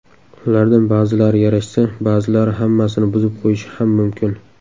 Ulardan ba’zilari yarashsa, ba’zilari hammasini buzib qo‘yishi ham mumkin.